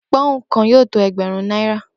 Pó̩ùn kan yóò tó e̩gbè̩rún kan náírà